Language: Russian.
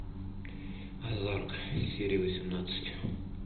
озарк серия восемнадцать